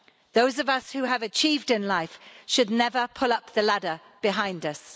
Those of us who have achieved in life should never pull up the ladder behind us.